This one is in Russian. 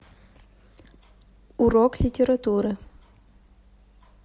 урок литературы